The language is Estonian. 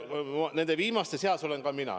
Nende viimaste seas olen ka mina.